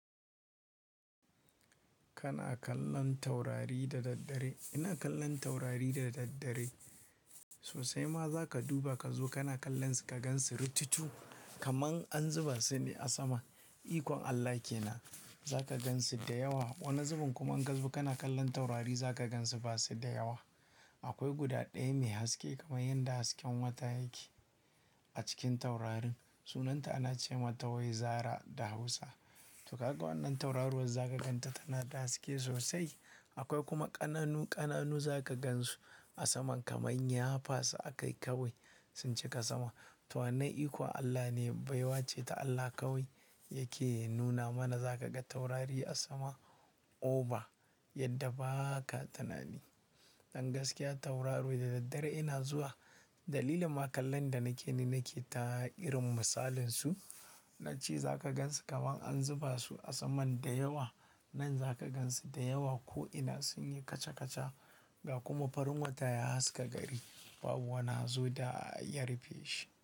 Kana kallon taurari da daddare, ina kallon taurari da daddare. Sosai ma za ka duba ka zo kana kallon su ka gan su ritutu kaman an zuba su ne a sama. Ikon Allah ke na, za ka gan su da yawa. Wani zubin kuma in kazo kana kallon taurari za ka gan su ba su da yawa. Akwai guda ɗaya mai haske kamar yadda hasken wata yake a cikin taurarin. Sunanta ana ce mata wai Zara da Hausa. To ka ga wannan tauraro wa za ka gan ta tana da haske sosai. Akwai kuma ƙananu ƙananu za ka gan su a saman kamar nyafa su aka yi kawai sun cika sama. To wanan ikon Allah ne baiwa ce ta Allah kawai yake nuna mana. Za ka ga taurari a sama ova yadda ba ka tinnani Ɗan gaskiya tauraro da daddare ina zuwa. Dalilin ma kallon da nake yi nake ta irin misalin su. Na ce za ka gan su kamar an zuba su a saman da yawa. Nan za ka gan su da yawa ko'ina sun yi kaca kaca da kuma farin wata ya haska gari babu wani zu da ya rufe shi.